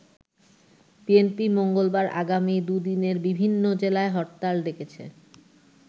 BNP মঙ্গলবার আগামী দু'দিনে বিভিন্ন জেলায় হরতাল ডেকেছে।